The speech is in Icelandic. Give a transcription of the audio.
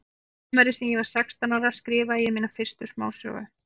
Sumarið sem ég var sextán ára skrifaði ég mína fyrstu smásögu.